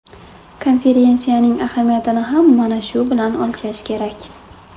Konferensiyaning ahamiyatini ham mana shu bilan o‘lchash kerak.